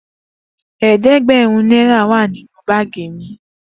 eedegberun nera wa ninu baagi mi.